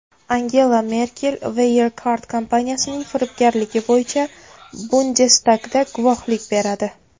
Angela Merkel Wirecard kompaniyasining firibgarligi bo‘yicha Bundestagda guvohlik beradi.